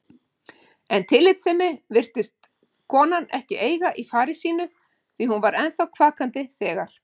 En tillitssemi virtist konan ekki eiga í fari sínu því hún var ennþá kvakandi þegar